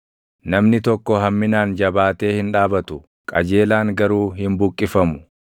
Namni tokko hamminaan jabaatee hin dhaabatu; qajeelaan garuu hin buqqifamu.